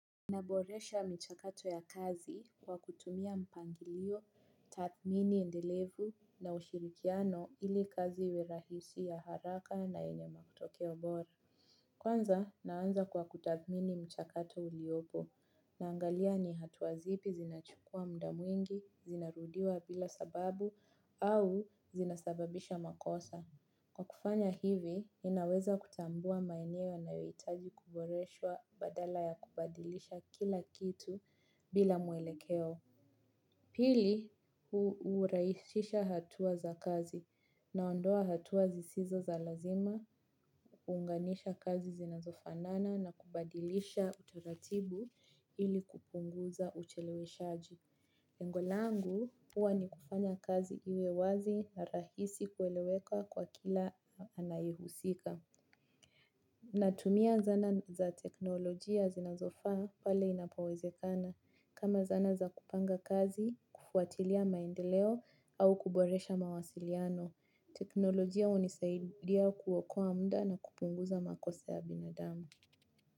Inaboresha mchakato ya kazi kwa kutumia mpangilio, tatmini endelevu na ushirikiano ili kazi iwe rahisi ya haraka na enye matokeo bora. Kwanza naanza kwa kutahmini mchakato uliobo naangalia ni hatuazipi zinachukua mda mwingi, zinarudiwa bila sababu au zinasababisha makosa. Kwa kufanya hivi, ninaweza kutambua maenewo yanaoitaji kuboreshwa badala ya kubadilisha kila kitu bila mwelekeo. Pili, uraishisha hatua za kazi na ondoa hatua zisizo za lazima, uunganisha kazi zinazofanana na kubadilisha utaratibu ili kupunguza uchelewe shaji. Lengo langu uwa ni kufanya kazi iwe wazi na rahisi kueleweka kwa kila anayehusika. Natumia zana za teknolojia zinazofa pale inapowezekana. Kama zana za kupanga kazi, kufuatilia maendeleo au kuboresha mawasiliano. Teknolojia unisaidia kuwokoa munda na kupunguza makosa ya binadamu.